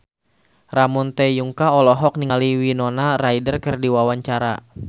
Ramon T. Yungka olohok ningali Winona Ryder keur diwawancara